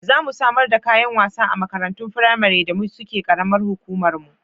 Za mu samar da kayan wasa a makarantun firamari da suke ƙaramar hukumarmu.